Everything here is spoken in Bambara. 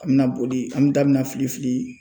A bi na boli an da bi na fili fili